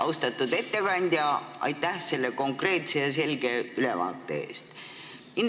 Austatud ettekandja, aitäh konkreetse ja selge ülevaate eest!